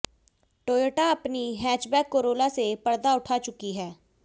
Toyota अपनी hatchback Corolla से पर्दा उठा चुकी है